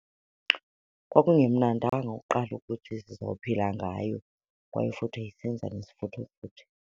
Kwakungemnandanga ukuqala ukuthi sizawuphila ngayo kwaye futhi isenza nesifuthufuthu.